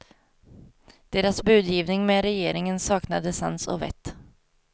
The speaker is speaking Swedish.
Deras budgivning med regeringen saknade sans och vett.